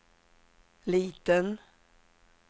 liten